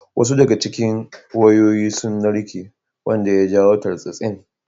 Wasu daga cikin wayoyi sun narke wanda ya jawo tartsatsin.